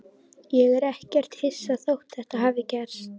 Ég er ekkert hissa þótt þetta hafi gerst.